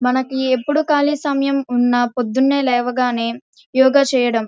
ఇప్పుడు మనకి ఇప్పుడు ఖాళీ సమయం ఉన్నా పొద్దున్నే లేవగానే యోగా చేయడం.